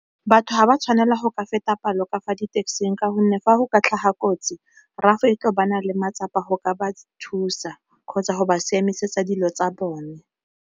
Batho ga ba tshwanela go ka feta palo ka fa di taxi-ng ka gonne fa go ka tlhaga kotsi RAF le matsapa go ka ba thusa kgotsa go ba siame tlisetsa dilo tsa bone.